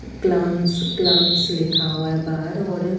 क्लांस क्लगंस लिखा हुआ है बाहर और--